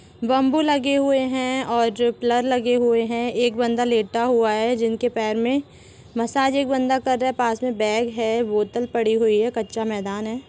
Bamboo लगे हुए है और और जो पिलर लगे हुए है एक बंदा लेटा हुआ है जिनके पैर मे मसाज एक बंदा कर रहा है पास मे बैग है बोतल पड़े हुए है कच्चा मैदान है।